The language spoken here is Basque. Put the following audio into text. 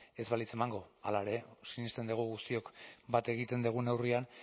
ez balitz emango hala ere sinesten dugu guztiok bat egiten dugun neurrian